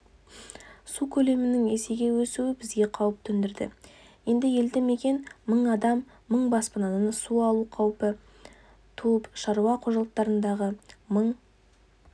су көлемінің есеге өсуі бізге қауіп төндірді енді елді мекен мың адам мың баспананы су алу қаупі туып шаруа қожалықтарындағы мың